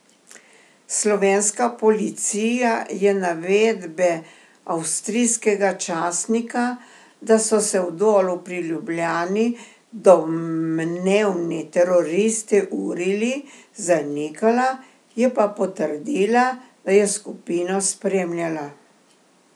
Slovenska policija je navedbe avstrijskega časnika, da so se v Dolu pri Ljubljani domnevni teroristi urili, zanikala, je pa potrdila, da je skupino spremljala.